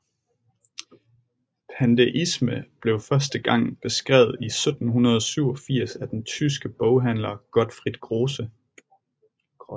Pandeisme blev første gang beskrevet i 1787 af den tyske boghandler Gottfried Grosse